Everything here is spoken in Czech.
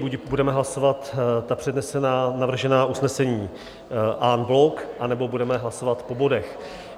Buď budeme hlasovat ta přednesená, navržená usnesení en bloc, anebo budeme hlasovat po bodech.